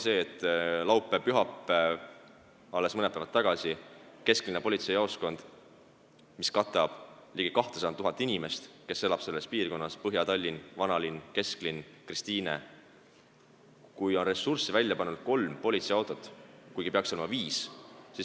Laupäeval-pühapäeval, alles mõned päevad tagasi, oli kesklinna politseijaoskonnas, mis katab piirkonda, kus elab ligi 200 000 inimest , välja panna ainult kolm politseiautot, kuigi neid peaks olema viis.